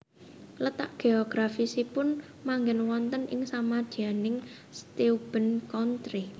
Letak geografisipun manggen wonten ing samadyaning Steuben Country